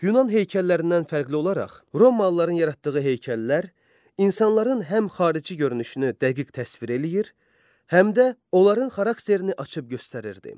Yunan heykəllərindən fərqli olaraq, Romalıların yaratdığı heykəllər insanların həm xarici görünüşünü dəqiq təsvir eləyir, həm də onların xarakterini açıb göstərirdi.